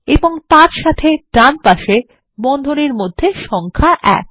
এবং তার সাথে ডান পাশে বন্ধনীর মধ্যে সংখ্যা এক